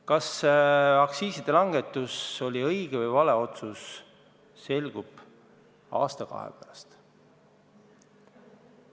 Kas aktsiiside langetus on õige või vale otsus, selgub aasta-kahe pärast.